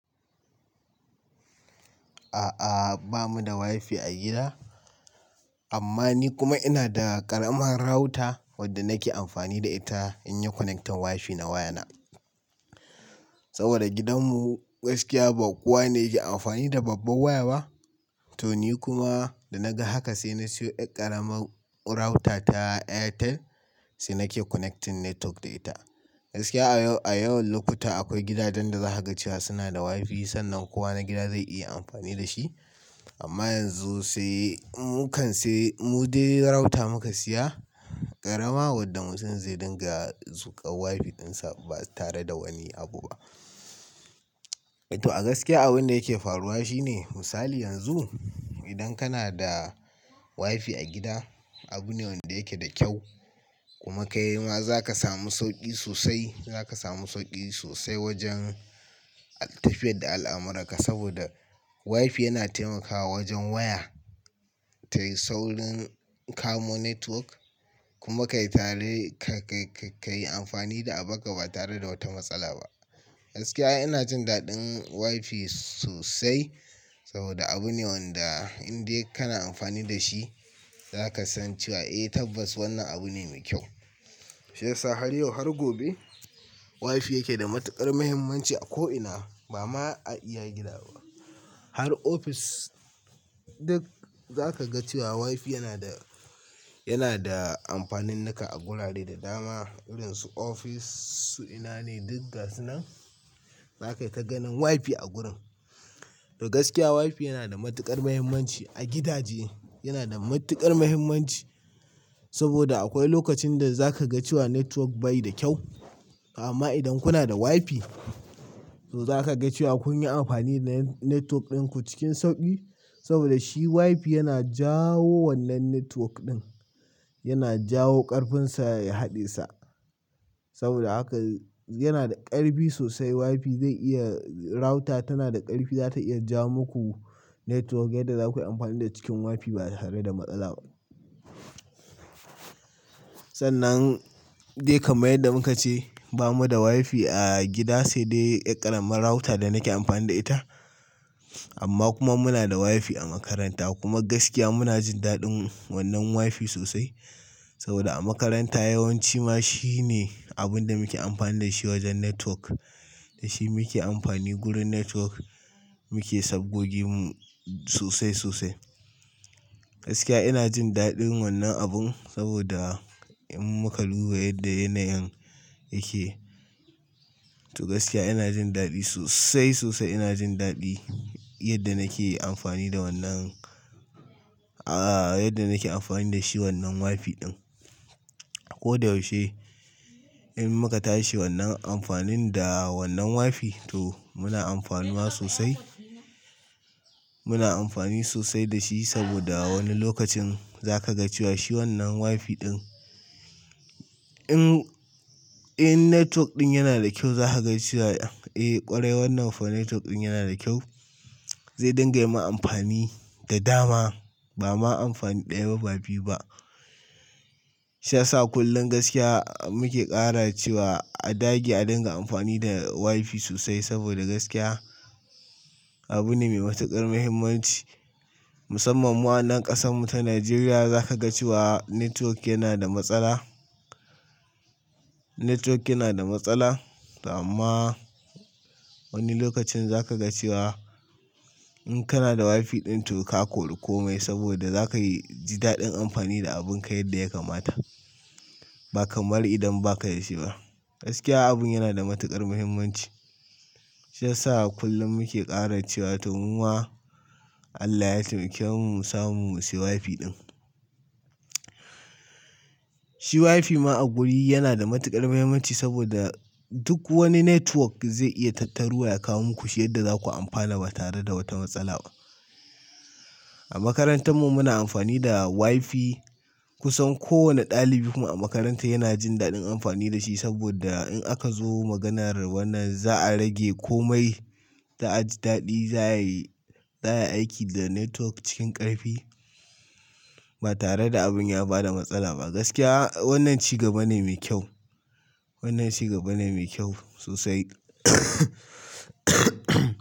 A'a, ba mu da wifi a gida. Amma ni kuma ina da ƙaramar router wadda nake amfani da ita in yi connecting wifi na wayana. Saboda gidanmu gaskiya ba kowa ne yake amfani da babban waya ba. To ni kuma da na ga haka sai na siyo ɗai ƙaramar router ta Airtel sai nake connecting network da ita. Gaskiya a yawan lokuta akwai gidajen da za ka ga cewa suna da wifi sannan kowa na gida zai iya amfani da shi. Amma yanzu sai mu kan sai mu dai router muka siya, ƙarama wadda mutum zai dinga zuƙa wifi ɗinsa ba tare da wani abu ba. To a gaskiya abin da yake faruwa shine misali yanzu, idan kana da wifi a gida, abu ne wanda yake da kyau. Kuma kai ma za ka samu sauƙi sosai, za ka samu sauƙi sosai wajen tafiyar da al'amuranka saboda wifi yana taimakawa wajen waya tayi saurin kamo network kuma ka yi tare, ka, ka, ka yi amfani da abaka ba tare da wata matsala ba. Gaskiya ina jin daɗin wifi sosai saboda abu ne wanda in dai kana amfani da shi za ka san cewa eh tabbas wannan abu ne mai kyau. Shiyasa har yau har gobe wifi yake da matuƙar muhimmanci a ko ina. Ba ma a iya gida ba, har ofis duk za ka ga cewa wifi yana da, yana da amfanin naka a gurare da dama. Irin su ofis, su ina ne? Duk ga su nan za kai tai ganin wifi a gurin. To gaskiya wifi yana da matuƙar muhimmanci a gidaje. Yana da matuƙar muhimmanci saboda akwai lokacin da za ka ga cewa network bai da kyau. Amma idan kuna da wifi to za ka ga cewa kun yi amfani da net-network ɗinku cikin sauƙi. Saboda shi wifi yana jawo wannan network ɗin, yana jawo ƙarfinsa ya haɗe sa. Saboda haka yana da ƙarfi sosai wifi zai iya, router tana da ƙarfi, za ta iya ja muku network yadda zakayi amfani da cikin wifi ba tare da matsala ba. Sannan dai kamar yadda muka ce, ba mu da wifi a gida sai dai ɗai ƙaramar router da nake amfani da ita. Amma kuma muna da wifi a makaranta kuma gaskiya muna jin daɗin wannan wifi sosai. Saboda a makaranta yawanci ma shi ne abin da muke amfani da shi wajen network. Da shi muke amfani gurin network muke sabgogin mu sosai, sosai. Gaskiya ina jin daɗin wannan abin saboda in muka luba yadda yanayin yake. To gaskiya ina jin daɗi sosai, sosai ina jin daɗi yadda nake amfani da wannan, a'a, yadda nake amfani da shi wannan wifi ɗin. Ko da yaushe in muka tashi wannan amfanin da wannan wifi to muna amfanuwa sosai. Muna amfani sosai da shi saboda wani lokacin za ka ga cewa shi wannan wifi ɗin in, in network ɗin yana da kyau za ka ga cewa eh ƙwarai wannan network ɗin yana da kyau. Zai dinga yi ma amfani da dama ba ma amfani ɗaya ba biyu ba. Shiyasa kullum gaskiya muke ƙara cewa a dage a dinga amfani da wifi sosai saboda gaskiya abu ne me matuƙar muhimmanci. Musamman mu anan ƙasan mu ta Najeriya za ka ga cewa network yana da matsala, network yana da matsala. Amma wani lokacin za ka ga cewa in kana da wifi ɗin to ka kori komai saboda za ka yi ji daɗin amfani da abinka yadda ya kamata. Ba kamar idan ba ka da shi ba. Gaskiya abun yana da matuƙar muhimmanci. Shiyasa kullum muke ƙara cewa to muma Allah ya taimake mu mu samu shi wifi ɗin. Shi wifi ma a guri yana da matuƙar muhimmanci saboda duk wani network zai iya tattaruwa ya kawo muku yadda za ku amfana ba tare da wata matsala ba. A makarantar mu muna amfani da wifi. Kusan kowane ɗalibi kuma a makaranta yana jin daɗin amfani da shi saboda in aka zo maganar wannan za a rage komai ta aji daɗi, za ya yi, za ya aiki da network cikin ƙarfi ba tare da abin ya ba da matsala ba. Gaskiya wannan ci gaba ne me kyau. Wannan ci gaba ne me kyau sosai.